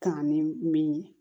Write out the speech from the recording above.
Kanga ni min ye